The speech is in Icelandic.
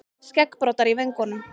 Skeggbroddar í vöngunum.